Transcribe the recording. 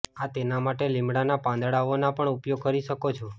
આ તેના માટે લિમડાનાં પાંદડાઓનો પણ ઉપયોગ કરી શકો છો